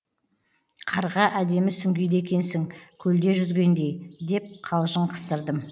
қарға әдемі сүңгиді екенсің көлде жүзгендей деп қалжың қыстырдым